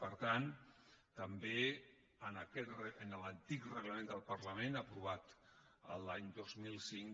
per tant també en l’antic reglament del parlament aprovat l’any dos mil cinc